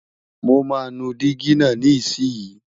mọ má nu Digi nà ní isi yi